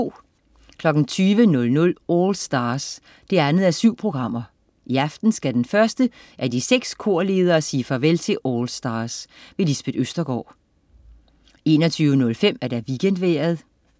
20.00 AllStars 2:7. I aften skal den første af de seks korledere sige farvel til "AllStars". Lisbeth Østergaard 21.05 WeekendVejret